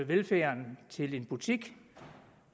velfærden til en butik